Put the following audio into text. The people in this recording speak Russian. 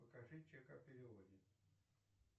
покажи чек о переводе